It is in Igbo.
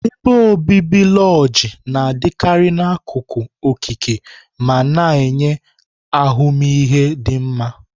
ebe obibi lojii na-adịkarị n'akụkụ okike ma na-enye ahụmịhe dị mma.